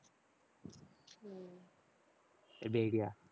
எப்படி idea